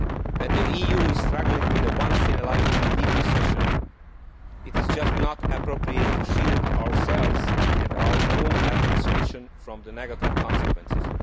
When the EU is struggling with a once in a lifetime deep recession, it is just not appropriate to shield ourselves and our own administration from the negative consequences.